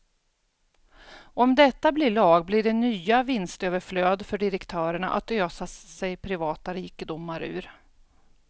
Om detta blir lag blir det nya vinstöverflöd för direktörerna att ösa sig privata rikedomar ur.